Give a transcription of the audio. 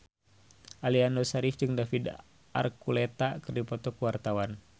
Aliando Syarif jeung David Archuletta keur dipoto ku wartawan